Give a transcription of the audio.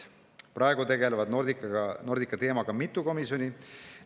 Praegu tegeleb Nordica teemaga mitu komisjoni.